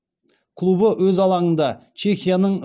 клубы өз алаңында чехияның